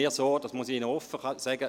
Das muss ich Ihnen offen sagen.